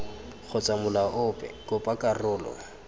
kgotsa molao ope kopa karolo